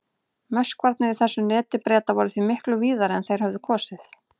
Möskvarnir í þessu neti Breta voru því miklu víðari en þeir hefðu kosið.